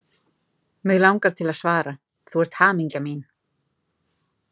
Mig langar til að svara: Þú ert hamingja mín!